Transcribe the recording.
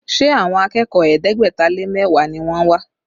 Ṣé àwọn akẹ́kọ̀ọ́ ẹ̀ẹ́dẹ́gbẹ̀ta lé mẹ́wàá ni wọ́n wá?